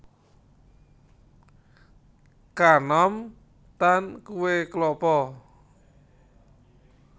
Kanom tan kuwé klapa